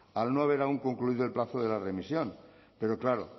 al no haber aún concluido el plazo de la remisión pero claro